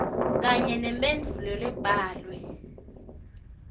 kanye nemphendvulo lebhalwe